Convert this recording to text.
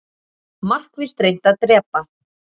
Markvisst reynt að drepa